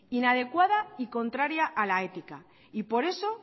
inadecuada y contraria a la ética y por eso